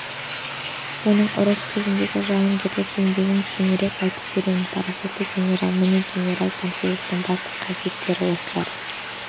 оның ұрыс кезіндегі жауынгерлік еңбегін кейінірек айтып беремін парасатты генерал міне генерал панфиловтың басты қасиеттері осылар